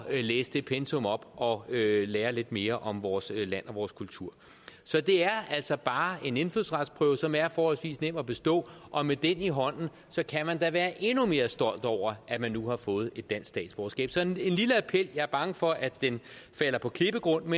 læse det pensum op og lære lidt mere om vores land og vores kultur så det er altså bare en indfødsretsprøve som er forholdsvis nem at bestå og med den i hånden kan man da være endnu mere stolt over at man nu har fået et dansk statsborgerskab så det er en lille appel jeg er bange for at den falder på klippegrund om